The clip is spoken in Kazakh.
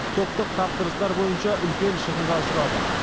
топтық тапсырыстар бойынша үлкен шығынға ұшырадық